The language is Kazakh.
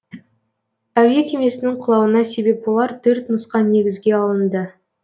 әуе кемесінің құлауына себеп болар төрт нұсқа негізге алынды